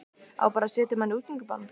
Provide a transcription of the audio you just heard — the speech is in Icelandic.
Á bara að setja mann í útgöngubann?